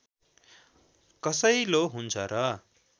कसैलो हुन्छ र